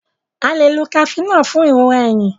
a lẹ ló Cafenol fún ìrora ẹhìn